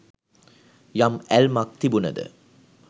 යම් ඇල්මක් තිබුනද